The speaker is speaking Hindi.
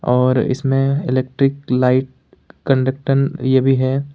और इसमें इलेक्ट्रीक लाइट कंडक्टन ये भी है।